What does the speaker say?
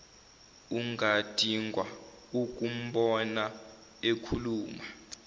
ungadidwa ukumbona ekhuluma